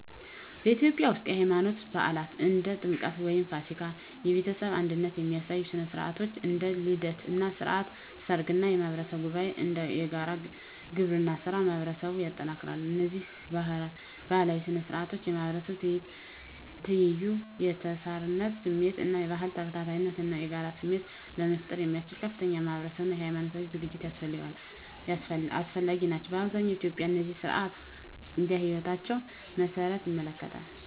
በኢትዮጵያ ውስጥ፣ የሃይማኖት በዓላት (እንደ ጥምቀት ወይም ፋሲካ)፣ የቤተሰብ አንድነት የሚያሳዩ ሥነ ሥርዓቶች (እንደ ልደት እና ሥርዓተ ሰርግ) እና የማህበረሰብ ጉባኤዎች (እንደ የጋራ ግብርና ሥራ) ማህበረሰቡን ያጠናክራሉ። እነዚህ ባህላዊ ሥነ ሥርዓቶች የማህበረሰብ ትይዩ፣ የተሳሳርነት ስሜት እና የባህል ተከታታይነት እና የጋራ ስሜት ለመፍጠር ያስችሉ ከፍተኛ ማህበራዊ አና ሀይማኖታዊ እጅግ አስፈላጊ ናቸው። አብዛኛዎቹ ኢትዮጵያውያን እነዚህን ሥነ ሥርዓቶች እንደ ህይወታቸው መሰረት ይመለከታሉ።